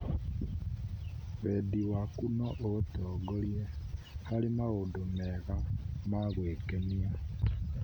Wendi waku no ũgũtongorie harĩ maũndũ mega ma gwĩkenia.